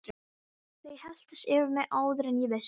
Þau helltust yfir mig áður en ég vissi af.